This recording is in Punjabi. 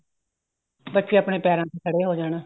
ਬੱਚੇ ਆਪਣੇ ਪੈਰਾ ਤੇ ਖੜੇ ਹੋ ਜਾਣ